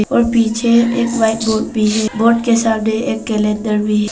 और पीछे एक वाइट बोर्ड भी है। बोर्ड के सामने एक कैलेंडर भी है।